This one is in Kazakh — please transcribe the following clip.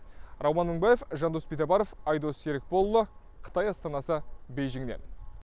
рауан мыңбаев жандос битабаров айдос серікболұлы қытай астанасы бейжіннен